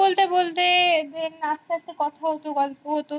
বলতে বলতে আসতে আসতে কথা হতো গল্প হতো